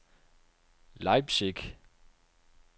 Leipzig